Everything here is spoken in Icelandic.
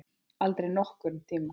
Aldrei nokkurn tíma!